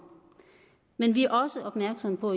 men vi også opmærksomme på